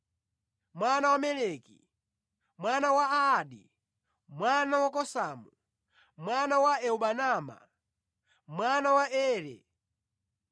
mwana wa Meliki, mwana wa Adi, mwana wa Kosamu, mwana wa Elmadama, mwana wa Ere,